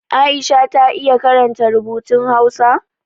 Aisha ta iya karanta rubutun Hausa?